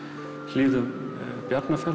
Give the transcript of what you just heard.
hlíðum